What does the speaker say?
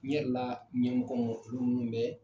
N yɛrɛ la ɲɛɔmɔgɔ bɛ